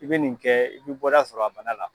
I bɛ nin kɛ i bɛ bɔda sɔrɔ a bana la.